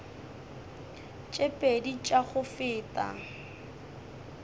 tše pedi tša go feta